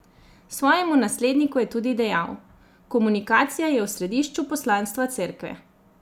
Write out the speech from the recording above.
Svojemu nasledniku je tudi dejal: "Komunikacija je v središču poslanstva Cerkve.